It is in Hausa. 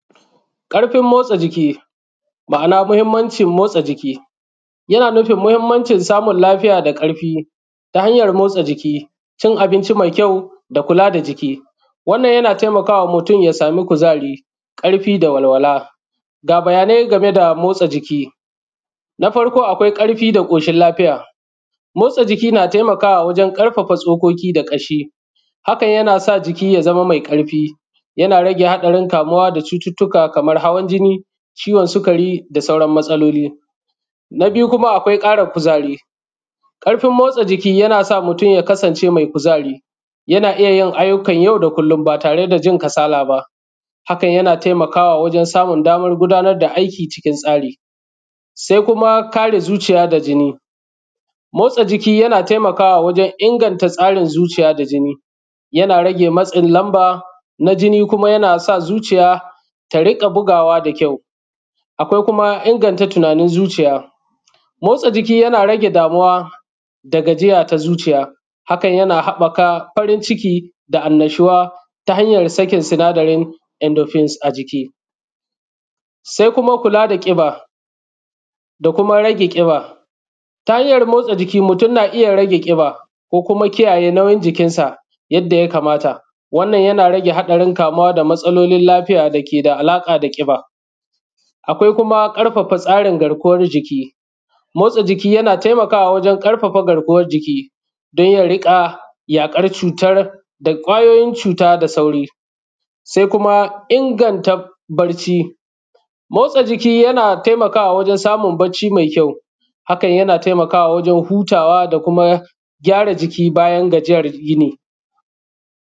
ƙarfin motsa jiki yana nufin ma’a na mahinmancin motsa jiki yana nufin mahinmancin samun lafiya da ƙarfi ta hanyan motsa jiki, cin abinci mai kyau da kula da jiki wannna yana taimaka wa mutum ya samu kuzari ƙarfi da walwala ga bayanai game da motsa jiiki na farko, akwai ƙarfi da ƙoshin lafiya motsa jiki na taimakawa wajen ƙarfafa ƙashi hakan yana sa jini ya zame mai ƙarfi yana rage haɗarin kamuwa da cututtuka kamar hawan jinni, ciwon sukari da sauran matsaloli. Na biyu kuma akwai ƙarin kuzari ƙarfin motsa jiki yana sa mutum ya kasance mai kuzari yana iya yin ayyukan yau da kullum ba tare da jin kasala ba hakan yana taimakawa wajen samun daman gudanar da aiki cikin tsari se kuma kare zuciya da jinni. Motsa jiki yana taimakawa wajen kare ingancin zuciya da jini yana rage matsin lamba na jini kuma yana sa zuciya ta rinƙa bugawa da kyau akwai kuma inganta tunanin zuciya. Motsa jiki yana rage damuwa da gajiaya ta zuciya hakan yana habaka farin ciki da annashuwa ta hanyan sakin sinadarin endo fins a jiki, se kuma kula da ƙiba da kuma rage ƙiba. Ta, hanyan motsa jiki mutum na iya rage ƙiba kokuma kiyaye nauyin jikin sa yadda ya kamata wanan yana rage hatsarin kamuwa da matsalolin lafiya da ke da alaƙa da ƙiba akwai kuma ƙarfafa tsarin garkuwan jiki motsa jiki yana taima ka wa wajen rage garkuwan rage motsa garkuwan jiki don ya riƙa yaƙar cutar da kwayoyin cuta da sauri se kuma ingnta barci motsa jiki yana taimakawa wajen samu bacci mai kyau hakan yana taimakawa wajen hutawa da kuma gyara jiki bayan gajiyar yini.